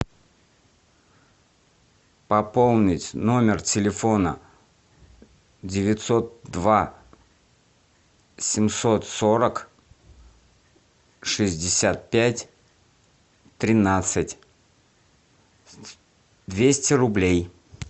пополнить номер телефона девятьсот два семьсот сорок шестьдесят пять тринадцать двести рублей